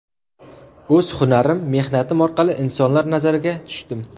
O‘z hunarim, mehnatim orqali insonlar nazariga tushdim.